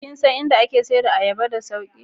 Kin dan in da ake sayar da ayaba da sauki?